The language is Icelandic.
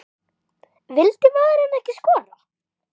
Vildi maðurinn ekki skora?